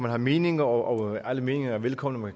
have meninger og alle meninger er velkomne og